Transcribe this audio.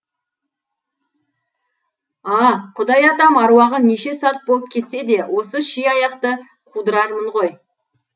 а құдай атам аруағы неше сарт болып кетсе де осы ши аяқты қудырармын ғой